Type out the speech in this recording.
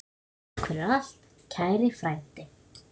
Takk fyrir allt, kæri frændi.